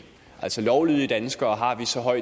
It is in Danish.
altså at lovlydige danskere har vi så